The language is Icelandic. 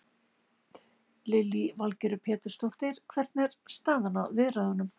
Lillý Valgerður Pétursdóttir: Hvernig er staðan á viðræðunum?